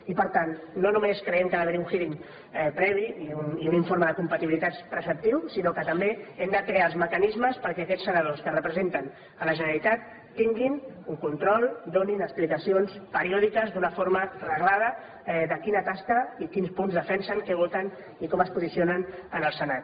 i per tant no només creiem que ha d’haver hi un hearingpatibilitats preceptiu sinó que també hem de crear els mecanismes perquè aquests senadors que representen la generalitat tinguin un control donin explicacions periòdiques d’una forma reglada de quina tasca i quins punts defensen què voten i com es posicionen en el senat